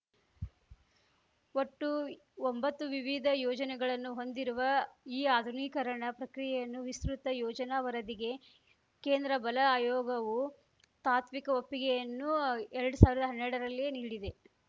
ಒಟ್ಟು ಒಂಬತ್ತು ವಿವಿಧ ಯೋಜನೆಗಳನ್ನು ಹೊಂದಿರುವ ಈ ಆಧುನೀಕರಣ ಪ್ರಕ್ರಿಯೆಯನ್ನು ವಿಸ್ತೃತ ಯೋಜನಾ ವರದಿಗೆ ಕೇಂದ್ರ ಬಲ ಆಯೋಗವು ತಾತ್ವಿಕ ಒಪ್ಪಿಗೆಯನ್ನು ಎರ್ಡ್ ಸಾವಿರ್ದಾ ಹನ್ನೆರಡರಲ್ಲಿಯೇ ನೀಡಿದೆ